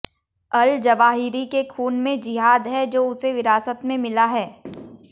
अल Zawahiri के खून में जिहाद है जो उसे विरासत में मिला है